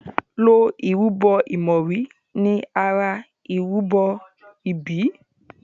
ló ìrúbo imori ní àrà ìrúbo ibí.